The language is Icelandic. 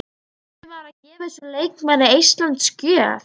Átti maður að gefa þessum leikmanni eistlands gjöf?